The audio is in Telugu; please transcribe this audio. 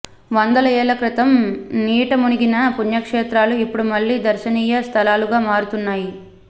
వందల ఏళ్ల క్రితం నీటమునిగిన పుణ్యక్షేత్రాలు ఇప్పుడు మళ్లీ దర్శనీయ స్థలాలుగా మారుతున్నాయి